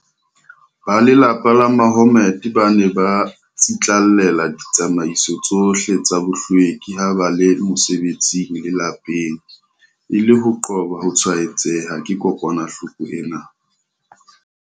Ba lelapa la Mahommed ba ne ba tsitlallela ditsamaiso tsohle tsa bohlweki ha ba le mosebetsing le lapeng, e le ho qoba ho tshwaetseha ke kokwanahloko ena.